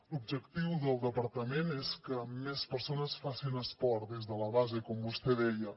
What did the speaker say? l’objectiu del departament és que més persones facin esport des de la base com vostè deia